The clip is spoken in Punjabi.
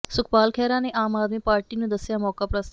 ਸੁਖਪਾਲ ਖਹਿਰਾ ਨੇ ਆਮ ਆਦਮੀ ਪਾਰਟੀ ਨੂੰ ਦੱਸਿਆ ਮੌਕਾਪ੍ਰਸਤ